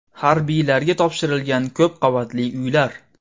Harbiylarga topshirilgan ko‘p qavatli uylar.